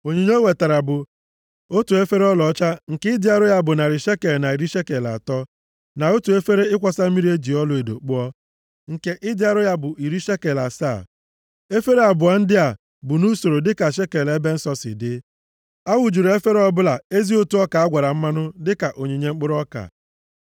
Onyinye o wetara bụ: otu efere ọlaọcha nke ịdị arọ ya bụ narị shekel na iri shekel atọ, na otu efere ịkwọsa mmiri e ji ọlaedo kpụọ, nke ịdị arọ ya bụ iri shekel asaa, efere abụọ ndị a bụ nʼusoro dịka shekel ebe nsọ si dị. A wụjuru efere ọbụla ezi ụtụ ọka a gwara mmanụ dịka onyinye mkpụrụ ọka.